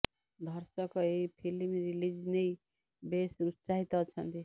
ଧର୍ଶକ ଏହି film release ନେଇ ବେଶ ଉତ୍ସାହିକ ଅଛନ୍ତି